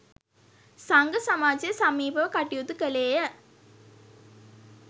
සංඝ සමාජය සමීපව කටයුතු කළේ ය.